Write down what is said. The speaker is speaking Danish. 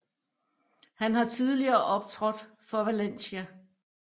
Han har tidligere optrådt for Valencia